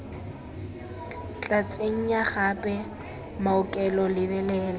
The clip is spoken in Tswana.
tla tsenya gape maokelo lebelela